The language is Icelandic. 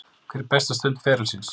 Hver er besta stund ferilsins?